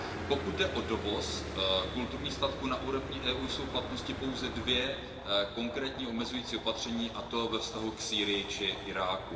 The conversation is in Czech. Pokud jde o dovoz kulturních statků, na úrovni EU jsou v platnosti pouze dvě konkrétní omezující opatření, a to ve vztahu k Sýrii či Iráku.